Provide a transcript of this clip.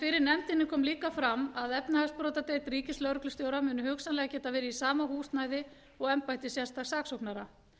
fyrir nefndinni kom fram að efnahagsbrotadeild ríkislögreglustjóra muni hugsanlega geta verið í sama húsnæði og embætti sérstaks saksóknara